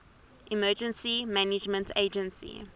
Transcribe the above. emergency management agency